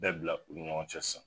Bɛɛ bila u ni ɲɔgɔn cɛ sisan.